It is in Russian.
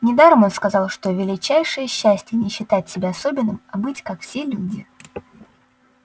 недаром он сказал что величайшее счастье не считать себя особенным а быть как все люди